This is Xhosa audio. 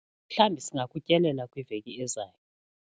Mhlawumbi singakutyelela kwiveki ezayo.